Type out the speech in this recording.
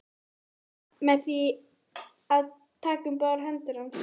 Sturlu umhyggjuna með því að taka um báðar hendur hans.